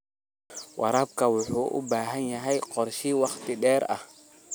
Waraabka waxa uu u baahan yahay qorshe wakhti dheer ah.